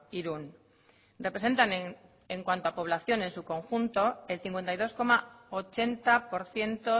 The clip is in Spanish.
irún representan en cuanto a población en su conjunto el cincuenta y dos coma ochenta por ciento